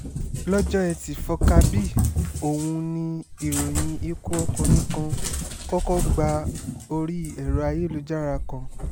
lọ́jọ́ etí furcabee ọ̀hún ni ìròyìn ikú ọkùnrin kan kọ́kọ́ gba orí ẹ̀rọ ayélujára kan